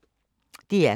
DR K